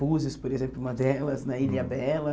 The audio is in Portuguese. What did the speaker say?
Búzios, por exemplo, uma delas, né Ilha Bela.